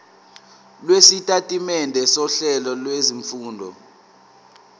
lwesitatimende sohlelo lwezifundo